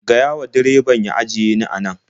Gaya wa direbabn ya ajiye ni a nan.